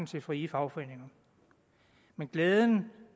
til frie fagforeninger men glæden